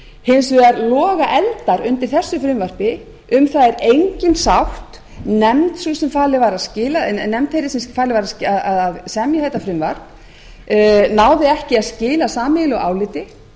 hins vegar loga eldar undir þessu frumvarpi um það er engin sátt nefnd þeirri sem falið var að semja þetta frumvarp náði ekki að skila sameiginlegu áliti